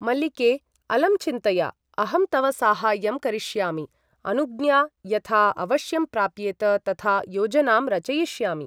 मल्लिके अलं चिन्तया । अहं तव साहाय्यं करिष्यामि । अनुज्ञा यथा अवश्यं प्राप्येत तथा योजनां रचयिष्यामि ।